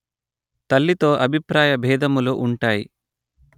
తల్లితో అభిప్రాయ బేధములు ఉంటాయి